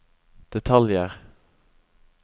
detaljer